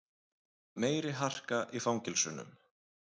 Meiri harka í fangelsunum